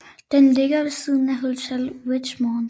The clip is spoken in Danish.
Den ligger ved siden af Hotel Richmond